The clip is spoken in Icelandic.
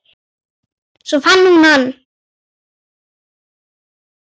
Svo fann hún hann.